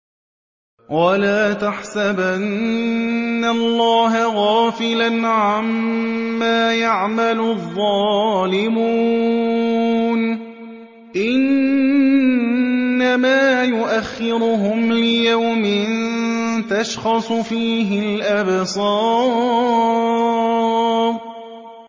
وَلَا تَحْسَبَنَّ اللَّهَ غَافِلًا عَمَّا يَعْمَلُ الظَّالِمُونَ ۚ إِنَّمَا يُؤَخِّرُهُمْ لِيَوْمٍ تَشْخَصُ فِيهِ الْأَبْصَارُ